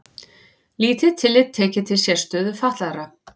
Lítið tillit tekið til sérstöðu fatlaðra